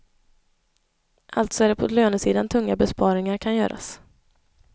Alltså är det på lönesidan tunga besparingar kan göras.